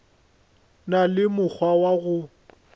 na le mokgwa wa go